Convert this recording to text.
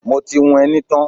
Mo ti hun ẹní tán.